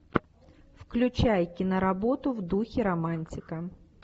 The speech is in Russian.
включай киноработу в духе романтика